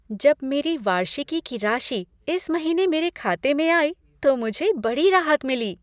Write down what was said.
जब मेरी वार्षिकी की राशि इस महीने मेरे खाते में आई तो मुझे बड़ी राहत मिली।